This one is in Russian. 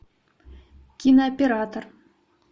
кинооператор